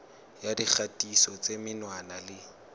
ya dikgatiso tsa menwana le